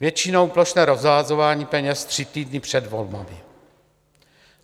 Většinou plošné rozhazování peněz tři týdny před volbami.